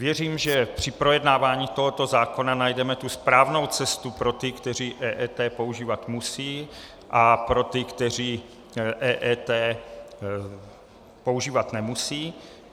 Věřím, že při projednávání tohoto zákona najdeme tu správnou cestu pro ty, kteří EET používat musí, a pro ty, kteří EET používat nemusí.